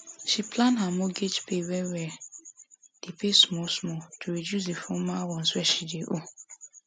she plan her mortgage pay well well dey pay small small to reduce the former ones wey she dey owe